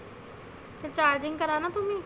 charging कराना तुम्ही.